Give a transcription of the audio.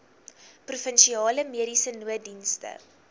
provinsiale mediese nooddienste